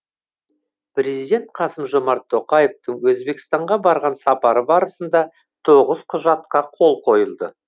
президент қасым жомарт тоқаевтың өзбекстанға барған сапары барысында тоғыз құжатқа қол қойылды